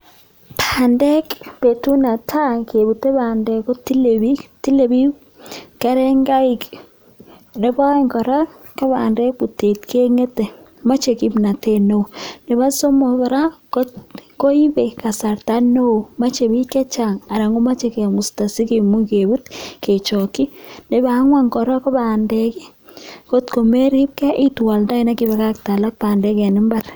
Bandek betut netai kebute bandek kotile biik tile biik kerengaik, Nepo aeng kora ko bandek en butet keng'ete moche kipnotet neo, nepo somok kora koipe kasarta neo moche biik chechang anan komoche kemusta sikimuch kebut kechokyi ,nepo angwan kora ko bandek ko kot komeripge itwoldoen bandek akipakakte alak bandek en mbar.